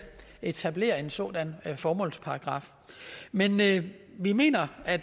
etablere en sådan formålsparagraf men men vi mener at